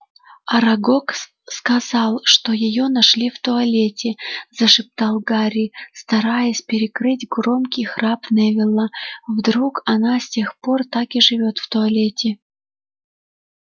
арагог сказал что её нашли в туалете зашептал гарри стараясь перекрыть громкий храп невилла вдруг она с тех пор так и живёт в туалете